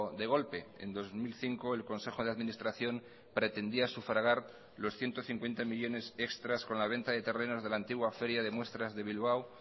de golpe en dos mil cinco el consejo de administración pretendía sufragar los ciento cincuenta millónes extras con la venta de terrenos de la antigua feria de muestras de bilbao